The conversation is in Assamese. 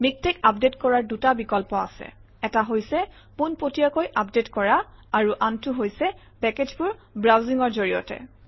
মিকটেক্স আপডেট কৰাৰ দুটা বিকল্প আছে এটা হৈছে পোনপটীয়াকৈ আপডেট কৰা আৰু আনটো হৈছে পেকেজবোৰ ব্ৰাউজিঙৰ জৰিয়তে